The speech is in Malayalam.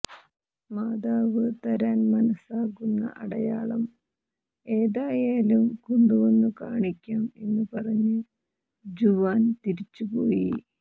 മാതാവ് തരാൻ മനസ്സാകുന്ന അടയാളം ഏതായാലും കൊണ്ടുവന്നുകാണിക്കാം എന്ന് പറഞ്ഞ് ജുവാൻ തിരിച്ചുപോയി